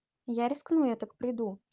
я рискну я так приду